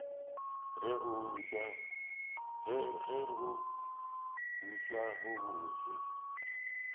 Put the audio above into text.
re go utswa go bose